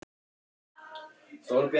Hún verður að halda í þessa von.